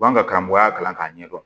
B'an ka karamɔgɔya kalan k'a ɲɛdɔn